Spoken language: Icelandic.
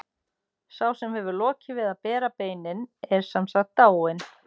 Sá sem hefur lokið við að bera beinin er sem sagt dáinn.